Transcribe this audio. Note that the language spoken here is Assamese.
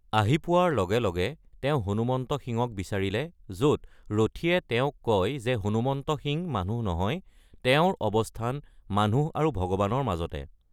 আহি পোৱাৰ লগে লগে তেওঁ হনুমন্ত সিংক বিচাৰিলে য’ত ৰথীয়ে তেওঁক কয় যে হনুমন্ত সিং মানুহ নহয়, তেওঁৰ অৱস্থান মানুহ আৰু ভগৱানৰ মাজতে।